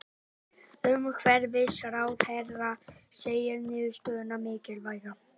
Umhverfisráðherra segir niðurstöðuna mikilvæga